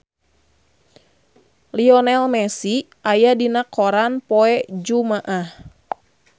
Lionel Messi aya dina koran poe Jumaah